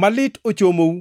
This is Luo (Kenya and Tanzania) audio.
“Malit ochomou,